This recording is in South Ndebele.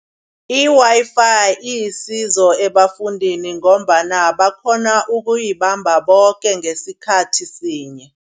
I-Wi-Fi ilisizo ebafundini ngombana bakghona ukuyibamba boke ngesikhathi sinye.